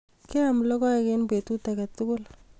Keam logoek eng petut age tugul